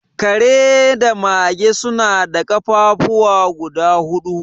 Kare da mage suna da ƙafafuwa guda hudu